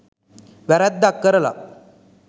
වැරැද්දක් කරලා